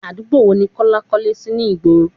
Àdúgbò wo ni Kọ́lá kọ́lé sì ni ìgboro?